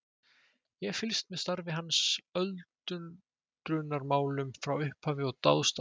Ég hef fylgst með starfi hans að öldrunarmálum frá upphafi og dáðst að þeim.